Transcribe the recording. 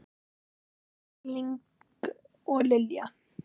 Ásgeir Erling og Lilja.